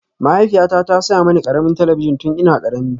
Mahaifiyata ta saya mini ƙaramin talabijin tun ina ƙarami